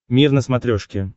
мир на смотрешке